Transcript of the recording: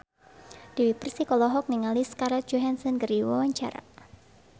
Dewi Persik olohok ningali Scarlett Johansson keur diwawancara